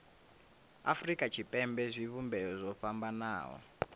afurika tshipembe zwivhumbeo zwo fhambanaho